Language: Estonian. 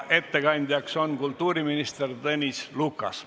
Ettekandja on kultuuriminister Tõnis Lukas.